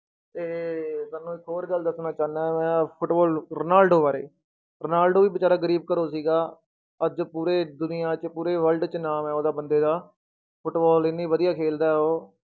ਤੇ ਤੁਹਾਨੂੂੰ ਇੱਕ ਹੋਰ ਗੱਲ ਦੱਸਣਾ ਚਾਹੁਨਾ ਮੈਂ ਫੁਟਬਾਲ ਰੋਨਾਲਡੋ ਬਾਰੇ, ਰੋਨਾਲਡੋ ਵੀ ਬੇਚਾਰਾ ਗ਼ਰੀਬ ਘਰੋਂ ਸੀਗਾ, ਅੱਜ ਪੂਰੇ ਦੁਨੀਆਂ 'ਚ ਪੂਰੇ world 'ਚ ਨਾਮ ਹੈ ਉਹਦਾ ਬੰਦੇ ਦਾ, ਫੁਟਬਾਲ ਇੰਨੀ ਵਧੀਆ ਖੇਲਦਾ ਹੈ ਉਹ।